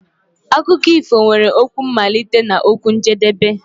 Akụkọ ifo nwere okwu mmalite na okwu njedebe.